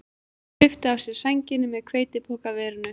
Hann svipti af sér sænginni með hveitipokaverinu